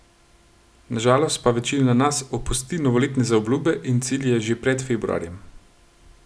Na žalost pa večina nas opusti novoletne zaobljube in cilje že pred februarjem.